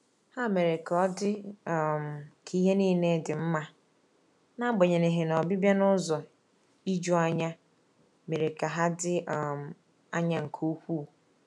Ha mere ka ọdị um ka ihe niile dị mma, n'agbanyeghi na ọbịbịa n’ụzọ ijuanya mere ka ha dị um anya nke ukwuu.